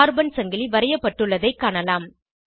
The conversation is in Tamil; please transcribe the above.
கார்பன் சங்கிலி வரையப்பட்டுள்ளதைக் காணலாம்